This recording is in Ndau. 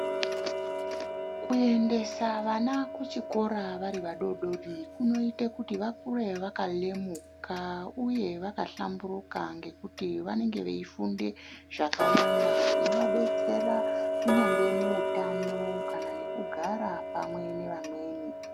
Kuendesa vana ku chikora vari vadodori kunoite kuti vakure vaka lemuka uye vaka hlamburuka ngekuti vanenge veyi funde zvaka wanda zvinova detsera kunyangwe mu utano kana ne kugara pamwe ne vamweni.